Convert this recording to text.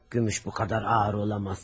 Gümüş bu qədər ağır ola bilməz.